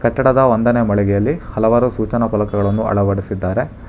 ಕಟ್ಟಡದ ಒಂದನೇ ಮಳಿಗೆಯಲ್ಲಿ ಹಲವಾರು ಸೂಚನಾ ಪಾಲಕಗಳನ್ನು ಅಳವಡಿಸಿದ್ದಾರೆ.